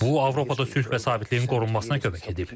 Bu Avropada sülh və sabitliyin qorunmasına kömək edib.